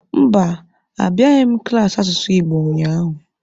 Mba, abịaghị m klaasị asụsụ Igbo ụnyaahụ.